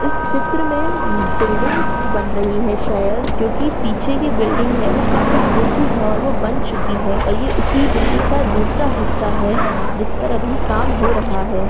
इस चित्र में बिल्डिंग्स बन रहीं हैं शायद क्यूंकि पीछे की बिल्डिंग है वो काफी ऊँची है और वो बन चुकी हैं और ये उसी बिल्डिंग का दूसरा हिस्सा है जिसपर अभी काम हो रहा है।